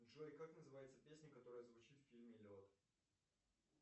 джой как называется песня которая звучит в фильме лед